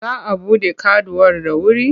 Za a buɗe kaduwar da wuri?